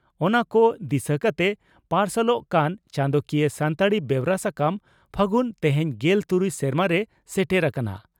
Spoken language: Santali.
ᱚᱱᱟ ᱠᱚ ᱫᱤᱥᱟᱹ ᱠᱟᱛᱮ ᱯᱟᱨᱥᱟᱞᱚᱜ ᱠᱟᱱ ᱪᱟᱸᱫᱚᱠᱤᱭᱟᱹ ᱥᱟᱱᱛᱟᱲᱤ ᱵᱮᱣᱨᱟ ᱥᱟᱠᱟᱢ 'ᱯᱷᱟᱹᱜᱩᱱ' ᱛᱮᱦᱮᱧ ᱜᱮᱞ ᱛᱩᱨᱩᱭ ᱥᱮᱨᱢᱟᱨᱮ ᱥᱮᱴᱮᱨ ᱟᱠᱟᱱᱟ ᱾